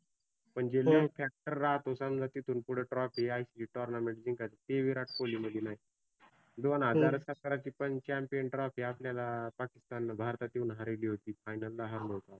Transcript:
म्हणजे lead factor राहतो समजा तिथुन पुढ trophy ICC tournament जिंकायच ते ही विराट कोल्ही मधी नाही. दोन हजार सतराची पण champion trophy आपल्याला पाकिस्ताननी भारतात येऊन हारिली होती, final ला हारलो होतो.